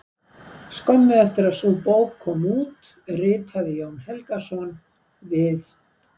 Skömmu eftir að sú bók kom út ritaði Jón Helgason: Við